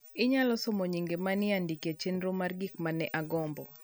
?Inyalo somo nyinge ma ne ondik e chenro mar gik ma ne agombo